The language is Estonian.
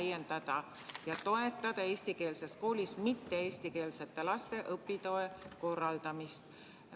Lisaks on soov täiendavalt toetada eestikeelses koolis mitte eestikeelsete laste õpitoe korraldamist.